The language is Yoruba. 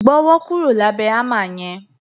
Gbọ́wọ́ kúrò lábẹ̀ hámà yẹn!